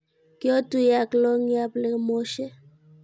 kiotuye ak longii ab lekemoshe.